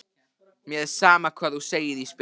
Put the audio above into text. Mér er sama hvað þú segir Ísbjörg.